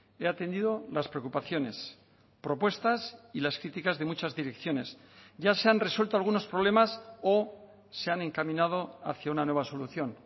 he atendido las preocupaciones propuestas y las críticas de muchas direcciones ya se han resuelto algunos problemas o se han encaminado hacia una nueva solución